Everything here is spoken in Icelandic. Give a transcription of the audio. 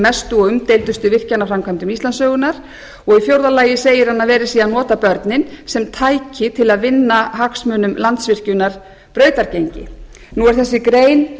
mestu og umdeildustu virkjanaframkvæmdum íslandssögunnar og í fjórða lagi segir hann að verið sé að nota börnin sem tæki til að vinna hagsmunum landsvirkjunar brautargengi nú er þessi grein